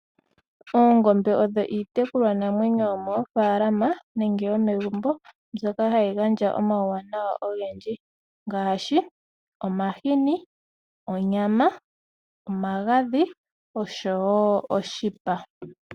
Oongombe odho iitekulwa namwenyo yomoofalama nenge yomegumbo mbyoka hayi gandja omauwanawa ogendji ngaashi onyama, omagadhi osho wo oshipa.